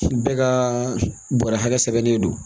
Bɛɛ ka bɔrɛ hakɛ sɛbɛnnen don